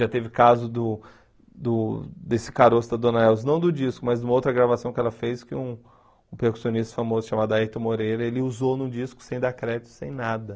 Já teve caso do do desse caroço da Dona Elza, não do disco, mas de uma outra gravação que ela fez, que um percussionista famoso chamado Ayrton Moreira, ele usou no disco sem dar crédito, sem nada.